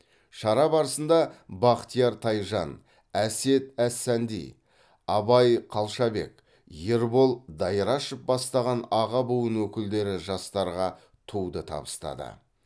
шара барысында бақтияр тайжан әсет әссанди абай қалшабек ербол дайрашев бастаған аға буын өкілдері жастарға туды табыстады